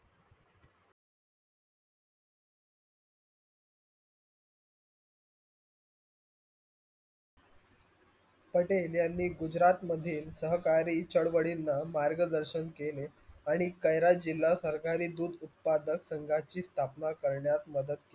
पटेल यांनी गुजरात मधी सरकरी चडवडीणा मार्ग दर्शन केले आणि कैरास जिल्हा सरकारी दूध उत्पादक संगाची स्थापना करण्यात मदत केली.